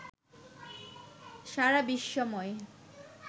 সারা বিশ্বময়